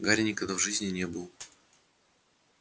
гарри никогда в жизни не был